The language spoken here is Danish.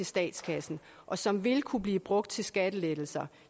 statskassen og som vil kunne blive brugt til skattelettelser og